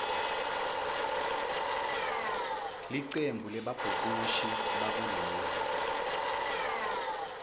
licembu lebabhukushi bakuleli